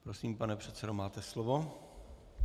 Prosím, pane předsedo, máte slovo.